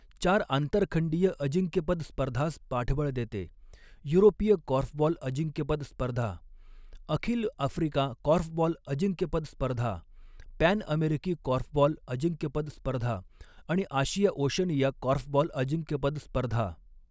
चार आंतरखंडीय अजिंक्यपद स्पर्धांस पाठबळ देते, युरोपीय कॉर्फबॉल अजिंक्यपद स्पर्धा, अखिल आफ्रिका कॉर्फबॉल अजिंक्यपद स्पर्धा, पॅन अमेरिकी कॉर्फबॉल अजिंक्यपद स्पर्धा आणि आशिया ओशनिया कॉर्फबॉल अजिंक्यपद स्पर्धा.